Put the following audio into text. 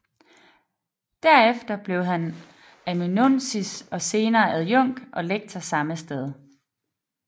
Derefter blev han amanuensis og senere adjunkt og lektor samme sted